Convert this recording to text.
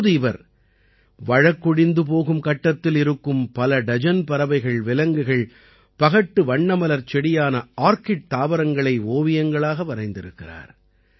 இப்போது இவர் வழக்கொழிந்து போகும் கட்டத்தில் இருக்கும் பல டஜன் பறவைகள் விலங்குகள் பகட்டு வண்ணமலர்ச் செடியான ஆர்கிட் தாவரங்களை ஓவியங்களாக வரைந்திருக்கிறார்